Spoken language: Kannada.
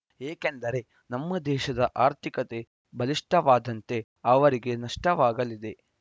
ಏಕೆಂದರೆ ನಮ್ಮ ದೇಶದ ಆರ್ಥಿಕತೆ ಬಲಿಷ್ಠವಾದಂತೆ ಅವರಿಗೆ ನಷ್ಟವಾಗಲಿದೆ